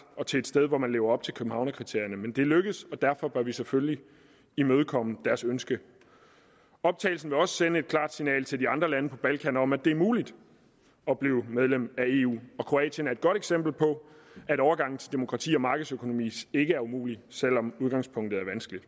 til et sted hvor man lever op til københavnerkriterierne men det lykkedes og derfor bør vi selvfølgelig imødekomme deres ønske optagelsen vil også sende et klart signal til de andre lande på balkan om at det er muligt at blive medlem af eu og kroatien er et godt eksempel på at overgangen til demokrati og markedsøkonomi ikke er umulig selv om udgangspunktet er vanskeligt